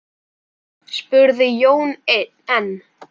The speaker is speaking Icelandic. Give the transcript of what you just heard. spurði Jón enn.